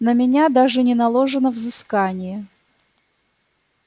на меня даже не наложено взыскание